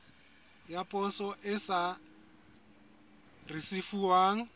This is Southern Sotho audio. ya poso e sa risefuwang